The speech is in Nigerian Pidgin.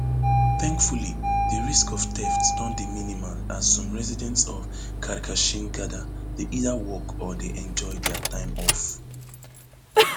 thankfully di risk of theft don dey minimal as some residents of karkashin gada dey either work or dey enjoy dia time off